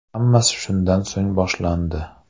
Hammasi shundan so‘ng boshlandi.